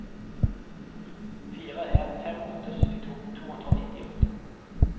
fire en fem åtte syttito to hundre og nittiåtte